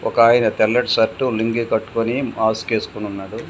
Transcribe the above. ఒకాయన తెల్లటి షర్టు లుంగీ కట్టుకొని మాస్క్ వేసుకొని ఉన్నాడు.